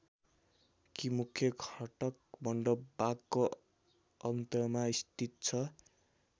कि मुख्य घटक मण्डप बागको अन्तमा स्थित छ।